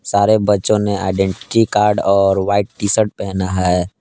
सारे बच्चों ने आइडेंटीटी कार्ड और व्हाइट टी_शर्ट पहना है।